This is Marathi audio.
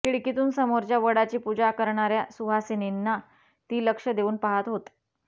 खिडकीतून समोरच्या वडाची पूजा करणाऱ्या सुहासिनींना ती लक्ष देऊन पाहत होत